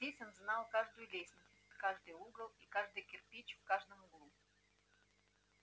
здесь он знал каждую лестницу каждый угол и каждый кирпич в каждом углу